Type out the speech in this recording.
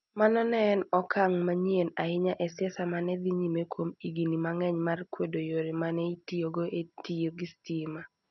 Mano ne en okang ' manyien ahinya e siasa ma ne dhi nyime kuom higini mang'eny mar kwedo yore ma ne itiyogo e tiyo gi stima.